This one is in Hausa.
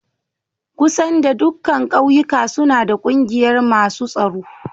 Kusar da dukan ƙauyuka suna da ƙungiyar masun tsoro.